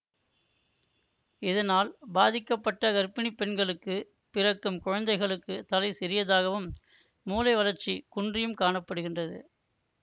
இதனால் பாதிக்கப்பட்ட கர்ப்பிணி பெண்களுக்கு பிறக்கும் குழந்தைகளுக்கு தலை சிறியதாகவும் மூளை வளர்ச்சி குன்றியும் காண படுகின்றது